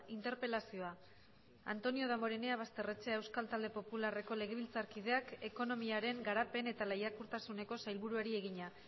interpelazioa antonio damborenea basterrechea euskal talde popularreko legebiltzarkideak ekonomiaren garapen eta lehiakortasuneko sailburuari egina